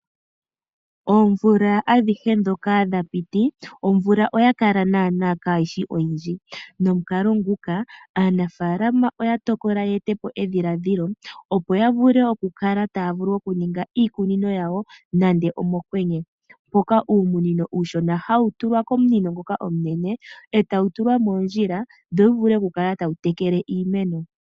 Oomvula adhihe ndhoka dhapiti omvula oya kala kaayishi oyindji obene nomukaloo nguno aanafalama oye etapo edhiladhilo lyokuninga iikunino yawo nande omokwenye. Uumunini uushona ohawu tulwa komunino omunene etawu tulwa moondjila, opo wu kale tawu tekele iimeno.